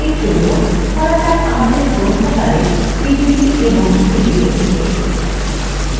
এরজন্য ধরা যাক আমাদের গ্রন্থাগারে ডিভিডি এবং সিডি রয়েছে